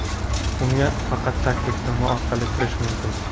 unga faqat taklifnoma orqali kirish mumkin.